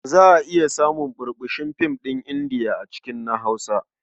Za a iya samun ɓurɓushin fina-finan Indiya a cikin na Hausa.